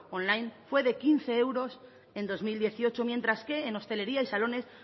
online fue de quince euros en dos mil dieciocho mientras que en hostelería y salones